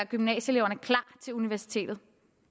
gymnasieeleverne klar til universitetet